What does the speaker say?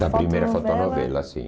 fotonovela. Da primeira fotonovela, sim.